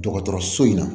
Dɔgɔtɔrɔso in na